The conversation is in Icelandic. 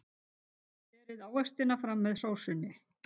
Berið ávextina fram með sósunni.